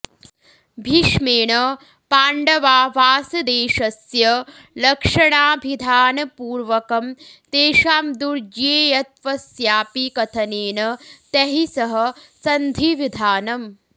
भीष्मेण पाण्डवावासदेशस्य लक्षणाभिधानपूर्वकं तेषां दुर्ज्ञेयत्वस्यापि कथनेन तैः सह सन्धिविधानम्